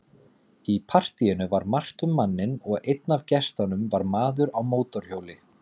Í partíinu var margt um manninn og einn af gestunum var maður á mótorhjóli.